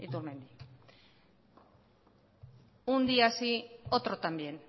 iturmendi un día sí otro también